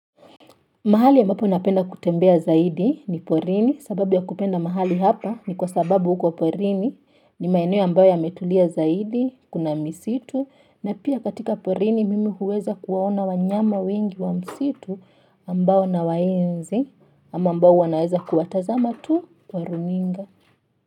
Mahali ambapo napenda kutembea zaidi ni porini sababu ya kupenda mahali hapa ni kwa sababu huko porini ni maeneo ambayo yametulia zaidi kuna misitu na pia katika porini mimi huweza kuwaona wanyama wengi wa msitu ambao nawaenzi ama ambao wanaweza kuwatazama tu kwa runinga.